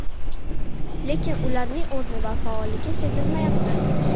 Lekin ularning o‘rni va faolligi sezilmayapti.